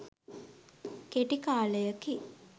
කෙටි කාලයකි.